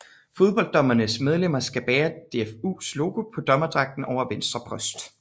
Fodbolddommerklubbernes medlemmer skal bære DFUs logo på dommerdragten over venstre bryst